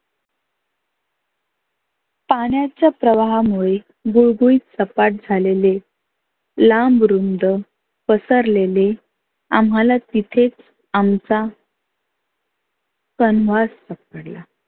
पाण्याच्या प्रवाहा मुळे गुळगुळीत सपाट झालेले लांब रुंद पसरलेले आम्हाला तिथे आमचा सापडला.